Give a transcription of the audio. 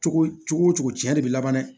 Cogo cogo tiɲɛ de bɛ laban dɛ